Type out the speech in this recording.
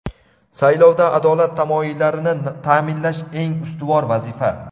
Saylovda adolat tamoyillarini taʼminlash eng ustuvor vazifa.